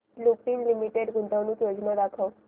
Lupin Limited गुंतवणूक योजना दाखव